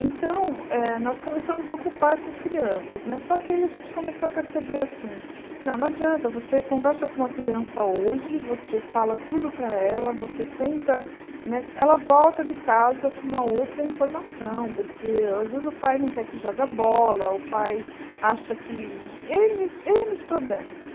Então, eh nós começamos a ocupar essas crianças né, só que aí a gente começou a perceber assim, não, não adianta, você conversa com uma criança hoje, você fala tudo para ela, você tenta, né ela volta de casa com uma outra informação, porque às vezes o pai não quer que jogue a bola, o pai acha que... ênes ênes problemas.